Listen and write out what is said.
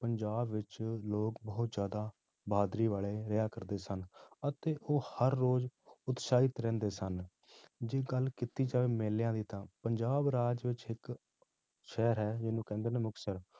ਪੰਜਾਬ ਵਿੱਚ ਲੋਕ ਬਹੁਤ ਜ਼ਿਆਦਾ ਬਹਾਦੁਰੀ ਵਾਲੇ ਰਿਹਾ ਕਰਦੇ ਸਨ, ਅਤੇ ਉਹ ਹਰ ਰੋਜ਼ ਉਤਸ਼ਾਹਿਤ ਰਹਿੰਦੇ ਸਨ, ਜੇ ਗੱਲ ਕੀਤੀ ਜਾਵੇ ਮੇਲਿਆਂ ਦੀ ਤਾਂ ਪੰਜਾਬ ਰਾਜ ਵਿੱਚ ਇੱਕ ਸ਼ਹਿਰ ਹੈ ਜਿਹਨੂੰ ਕਹਿੰਦੇ ਨੇ ਮੁਕਤਸਰ